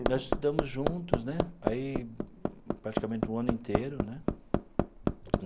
Nós estudamos juntos né aí, praticamente o ano inteiro né.